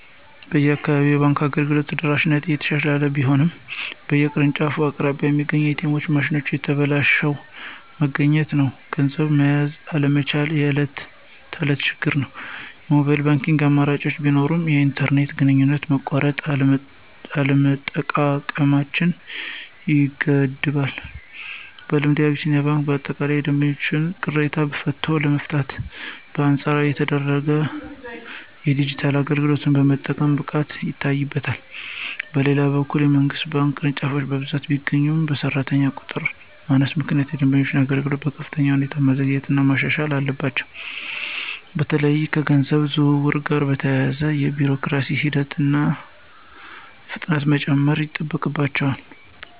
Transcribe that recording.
በአካባቢዬ የባንክ አገልግሎት ተደራሽነት እየተሻሻለ ቢሆንም፣ በየቅርንጫፎቹ አቅራቢያ የሚገኙት ኤ.ቲ.ኤም ማሽኖች ተበላሽተው መገኘት ወይም ገንዘብ መያዝ አለመቻላቸው የዕለት ተዕለት ችግር ነው። የሞባይል ባንኪንግ አማራጮች ቢኖሩም፣ የኢንተርኔት ግንኙነት መቆራረጥ አጠቃቀማቸውን ይገድባል። በልምዴ፣ አቢሲኒያ ባንክ በአጠቃላይ የደንበኞችን ቅሬታ በቶሎ የመፍታትና በአንጻራዊነት የተረጋጋ የዲጂታል አገልግሎት የመስጠት ብቃት ይታይበታል። በሌላ በኩል፣ የመንግሥት ባንክ ቅርንጫፎች በብዛት ቢገኙም፣ በሠራተኛ ቁጥር ማነስ ምክንያት የደንበኞችን አገልግሎት በከፍተኛ ሁኔታ ማዘግየትና ማሻሻል አለባቸው። በተለይም ከገንዘብ ዝውውር ጋር በተያያዙ የቢሮክራሲ ሂደቶች ላይ ፍጥነት መጨመር ይጠበቅባቸዋል።